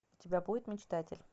у тебя будет мечтатель